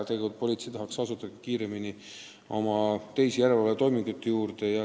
Politsei tahaks tegelikult kiiremini oma teiste järelevalvetoimingute juurde asuda.